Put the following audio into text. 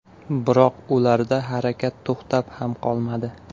Biroq ularda harakat to‘xtab ham qolmadi.